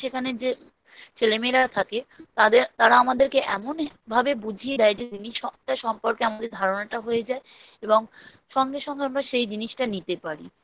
সেখানের যে ছেলে মেয়েরা থাকে তাদের তারা আমাদেরকে এমনভাবে বুঝিয়ে দেয় যে জিনিস সম্পর্কে আমাদের ধারণাটা হয়ে যায় এবং সঙ্গে সঙ্গে আমরা সেই জিনিসটা নিতে পারি